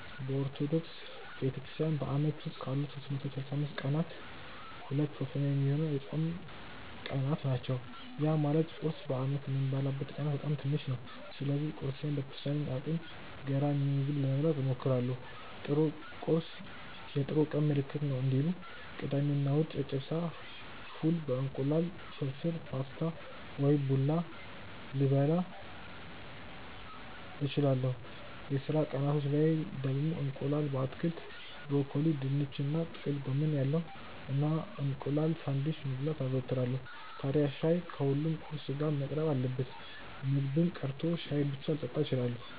በኦርቶዶክስ ቤተክርስትያን በአመት ውስጥ ካሉት 365 ቀናት ሁለት ሶስተኛ ሚሆነው የጾም ቀናት ናቸው። ያ ማለት ቁርስ በአመት የምበላበት ቀናት በጣም ትንሽ ናቸው። ስለዚህ ቁርሴን በተቻለኝ አቅም ገራሚ ምግብ ለመብላት እሞክራለው 'ጥሩ ቁርስ የጥሩ ቀን ምልክት ነው' እንዲሉ። ቅዳሜ እና እሁድ ጨጨብሳ፣ ፉል በ እንቁላል፣ ፍርፍር በፓስታ ወይም ቡላ ልበላ እችላለው። የስራ ቀናቶች ላይ ደግሞ እንቁላል በአትክልት (ብሮኮሊ፣ ድንች እና ጥቅል ጎመን ያለው) እና እንቁላል ሳንድዊች መብላት አዘወትራለው። ታድያ ሻይ ከሁሉም ቁርስ ጋር መቅረብ አለበት። ምግብም ቀርቶ ሻይ ብቻ ልጠጣም እችላለው።